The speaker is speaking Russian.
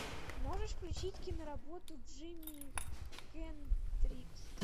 можешь включить киноработу джимми хендрикс